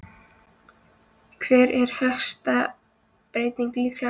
Hver er helsta breytingin líkamlega?